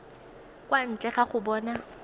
kwa ntle ga go bona